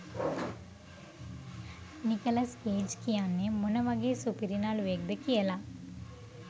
Nicholls Cage කියන්නෙ මොන වගේ සුපිරි නළුවෙක්ද කියලා.